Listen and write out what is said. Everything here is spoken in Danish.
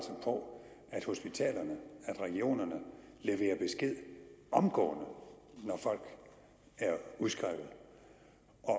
på at hospitalerne regionerne leverer besked omgående når folk er udskrevet